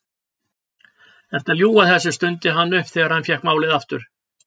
Ertu að ljúga þessu? stundi hann upp þegar hann fékk málið aftur.